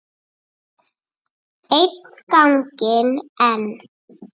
Einn ganginn enn.